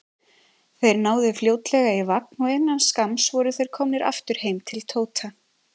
Þeir náðu fljótlega í vagn og innan skamms voru þeir komnir aftur heim til Tóta.